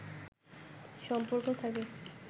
সম্পর্ক থাকে